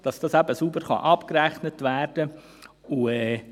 Das muss sauber abgerechnet werden können.